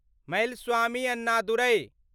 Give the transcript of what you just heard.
Melaswamy Annadurai